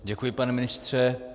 Děkuji, pane ministře.